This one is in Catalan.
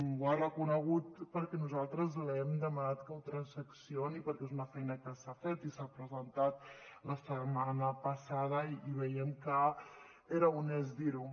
ho ha reconegut perquè nosaltres li hem demanat que ho transaccioni perquè és una feina que s’ha fet i s’ha presentat la setmana passada i veiem que era honest dir ho